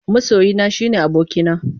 Masoyina shine abokina.